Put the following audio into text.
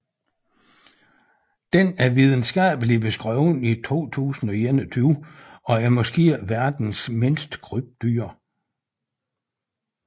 Den er videnskabeligt beskrevet i 2021 og er måske verdens mindste krybdyr